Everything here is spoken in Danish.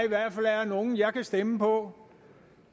nogle jeg kan stemme på